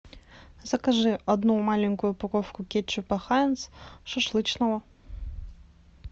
закажи одну маленькую упаковку кетчупа хайнц шашлычного